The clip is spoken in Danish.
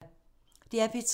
DR P3